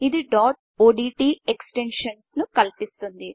ఇది dot ODT ఎక్స్టెన్షన్ను కల్పిస్తుంది